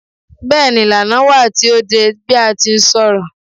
Bẹ́ẹ̀ni, ìlànà wà tí o de bi a ti ń ṣọ̀rọ̀